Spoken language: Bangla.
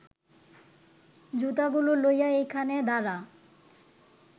জুতাগুলা লইয়া এইখানে দাঁড়া